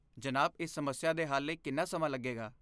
ਜਨਾਬ, ਇਸ ਸਮੱਸਿਆ ਦੇ ਹੱਲ ਲਈ ਕਿੰਨਾ ਸਮਾਂ ਲੱਗੇਗਾ?